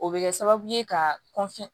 O bɛ kɛ sababu ye ka